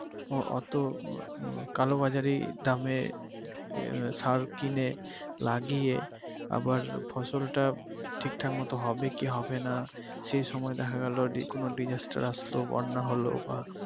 অতো কালোবাজারি দামের সার কিনে লাগিয়ে আবার ফসল তা ঠিকঠাক মত হবে কি হবে নাহ সে সময় দেখা গেলো কোন disaster আসলো বন্যা হলো বা